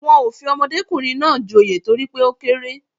Wọn ò fi ọmọdékùnrin náà joyè torí pé ó kéré